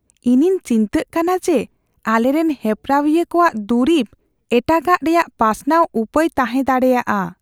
ᱤᱧᱤᱧ ᱪᱤᱱᱛᱟᱹᱜ ᱠᱟᱱᱟ ᱡᱮ ᱟᱞᱮᱨᱮᱱ ᱦᱮᱯᱨᱟᱣᱤᱭᱟᱹ ᱠᱚᱣᱟᱜ ᱫᱩᱨᱤᱵ ᱮᱴᱟᱜᱟᱜ ᱨᱮᱭᱟᱜ ᱯᱟᱥᱱᱟᱣ ᱩᱯᱟᱹᱭ ᱛᱟᱦᱮᱸ ᱫᱟᱲᱮᱭᱟᱜᱼᱟ ᱾